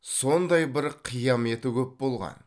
сондай бір қияметі көп болған